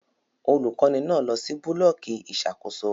Olukọni náà lọ si bulọọki ìṣàkóso